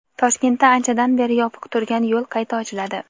Toshkentda anchadan beri yopiq turgan yo‘l qayta ochiladi.